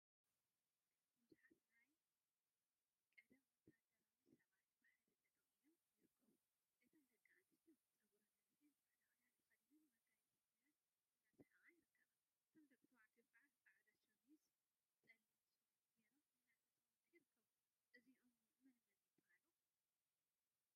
ቡዙሓት ናይ ቀደም ወታደራዊ ሰባት ብሓደ ጠጠወ ኢሎም ይርከቡ፡፡ እተን ደቂ አንስትዮ ፀጉረን አንዊሐን ፃዕዳ ክዳን ተከዲነንን መጋየፂ ገይረን እናሰሓቃ ይርከባ፡፡ እቶም ደቂ ተባዕትዮ ከዓ ፃዕዳ ሸሚዝን ፀሊም ሱፍን ገይሮም እናተፃወቱ ይርከቡ፡፡ እዚኦም መነመን ይበሃሉ?